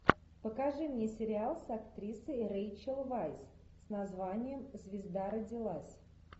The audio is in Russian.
покажи мне сериал с актрисой рэйчел вайс с названием звезда родилась